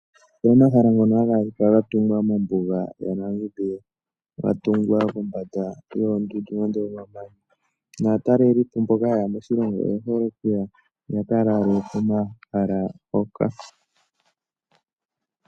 Omahala ngono haga adhika ga tunga mombuga yaNamibia. Nga tungwa kombanda yoondundu nande yomamanya. Naatalelipo mboka hayeya moshilongo oye hole oku ka lala komahala hoka.